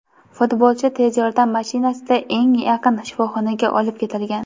futbolchi tez yordam mashinasida eng yaqin shifoxonaga olib ketilgan.